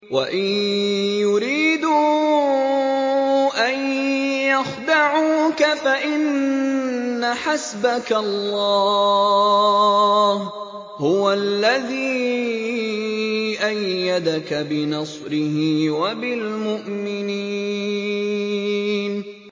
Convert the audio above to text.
وَإِن يُرِيدُوا أَن يَخْدَعُوكَ فَإِنَّ حَسْبَكَ اللَّهُ ۚ هُوَ الَّذِي أَيَّدَكَ بِنَصْرِهِ وَبِالْمُؤْمِنِينَ